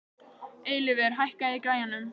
Eilífur, hækkaðu í græjunum.